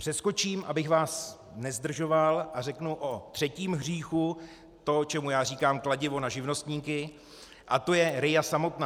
Přeskočím, abych vás nezdržoval, a řeknu o třetím hříchu, to, čemu já říkám kladivo na živnostníky, a to je RIA samotná.